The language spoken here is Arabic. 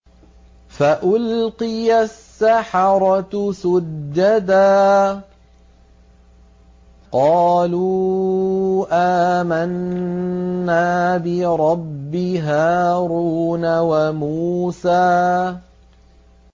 فَأُلْقِيَ السَّحَرَةُ سُجَّدًا قَالُوا آمَنَّا بِرَبِّ هَارُونَ وَمُوسَىٰ